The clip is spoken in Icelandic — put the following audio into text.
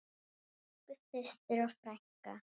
Elsku systir og frænka.